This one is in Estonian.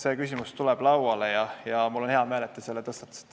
See küsimus tuleb lauale ja mul on hea meel, et te selle tõstatasite.